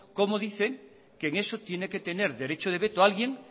cómo dicen que en eso tiene que tener derecho de veto alguien